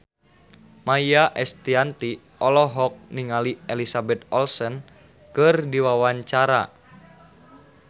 Maia Estianty olohok ningali Elizabeth Olsen keur diwawancara